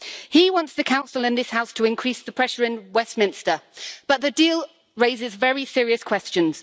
He wants the Council and this House to increase the pressure in Westminster but the deal raises very serious questions.